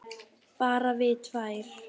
Bara við tvær.